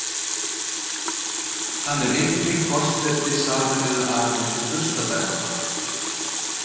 Hann er einnig forseti Sameinuðu arabísku furstadæmanna.